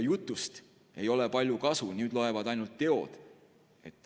Jutust ei ole palju kasu, nüüd loevad ainult teod.